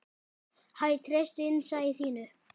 Hæ, treystu innsæi þínu.